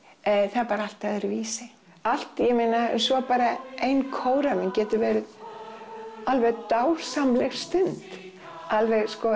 það er bara allt öðruvísi allt ég meina svo bara ein kóræfing getur verið alveg dásamleg stund alveg sko